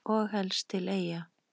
Og helst til Eyja.